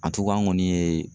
an kɔni ye